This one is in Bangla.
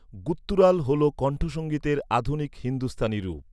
গুত্তুরাল হল কণ্ঠসঙ্গীতের আধুনিক হিন্দুস্তানি রূপ।